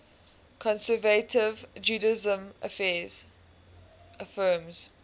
conservative judaism affirms